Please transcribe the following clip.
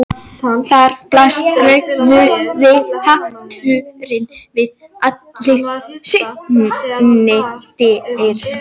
Þar blasti rauði hatturinn við í allri sinni dýrð.